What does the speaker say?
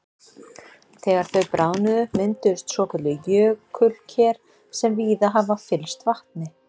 Þegar þau bráðnuðu mynduðust svokölluð jökulker sem víða hafa fyllst vatni.